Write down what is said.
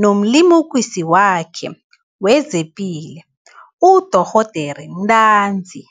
nomlimukisi wakhe wezepilo, nodorhoderakhe ntanzi.